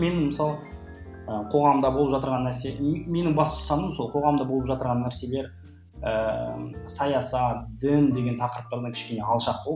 мен мысалы ы қоғамда болып жатырған нәрсе менің басты ұстаным сол қоғамда болып жатырған нәрселер ііі саясат дін деген тақырыптардан кішкене алшақтау